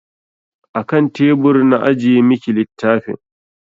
A kan tebur na ajiye miki littafin.